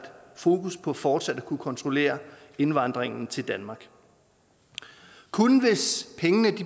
fokus på fortsat at kunne kontrollere indvandringen til danmark kun hvis pengene